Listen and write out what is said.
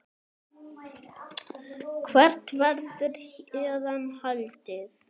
Hvert verður héðan haldið?